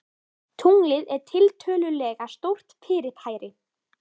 Tunglið er tiltölulega stórt fyrirbæri.